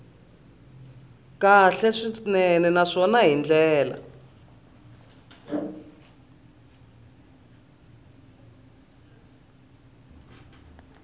kahle swinene naswona hi ndlela